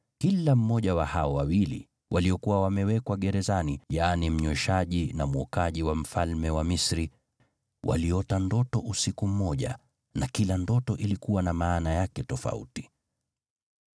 kila mmoja wa hao wawili waliokuwa wamewekwa gerezani, yaani mnyweshaji na mwokaji wa mfalme wa Misri, waliota ndoto usiku mmoja, na kila ndoto ilikuwa na maana yake tofauti.